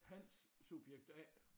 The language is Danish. Hans subjekt A